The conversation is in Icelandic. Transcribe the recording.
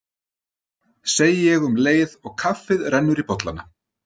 segi ég um leið og kaffið rennur í bollana.